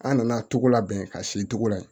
An nana togoda bɛn ka si togoda ye